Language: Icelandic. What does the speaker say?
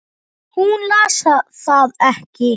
Hún las það ekki.